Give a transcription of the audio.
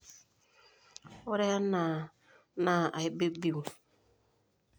ore enaa naa aibibiu